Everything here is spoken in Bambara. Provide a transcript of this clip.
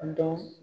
A dɔn